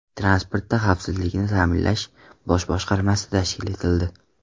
Transportda xavfsizlikni ta’minlash bosh boshqarmasi tashkil etildi.